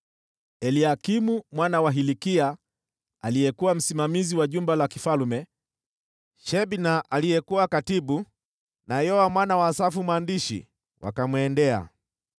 Eliakimu mwana wa Hilkia aliyekuwa msimamizi wa jumba la kifalme, Shebna aliyekuwa katibu, na Yoa mwana wa Asafu mwandishi wakamwendea.